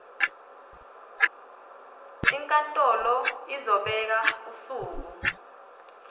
inkantolo izobeka usuku